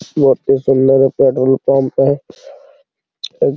यहाँ पे सोलह बट्टा --